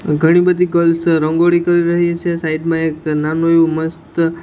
ઘણી બધી ગર્લ્સ રંગોળી કરી રહી છે સાઈડ માં એક નાનું એવું મસ્ત --